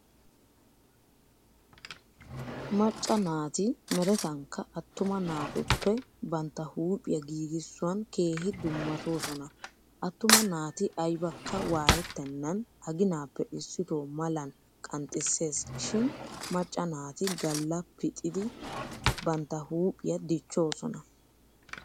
Macca naati meretankka attuma naatuple bantta huuphiya giigissuwan keehi dummatoosona. Attuma naati aybakka waayettennan aginaappe issito malan qanxxisseesi shin macca naati galla pixidi bantta huuphiya dichchoosona.